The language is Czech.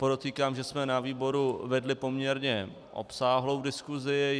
Podotýkám, že jsme na výboru vedli poměrně obsáhlou diskusi.